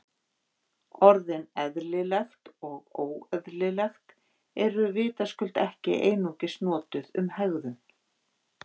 Orðin eðlilegt og óeðlilegt eru vitaskuld ekki einungis notuð um hegðun.